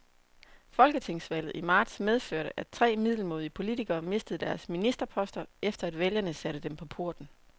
Folketingsvalget i marts medførte, at tre middelmådige politikere mistede deres ministerposter, efter at vælgerne satte dem på porten.